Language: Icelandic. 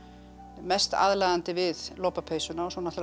mest aðlaðandi við lopapeysuna og svo náttúrulega